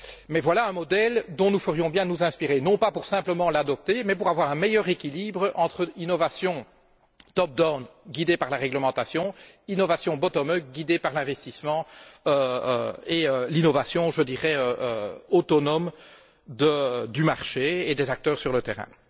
Mais voilà un modèle dont nous ferions bien de nous inspirer, non pas pour simplement l'adopter, mais pour avoir un meilleur équilibre entre l'innovation top down guidée par la réglementation, l'innovation bottom up guidée par l'investissement, et l'innovation, je dirais, autonome du marché et des acteurs sur le terrain.